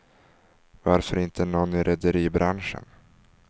Varför inte nån i rederibranschen?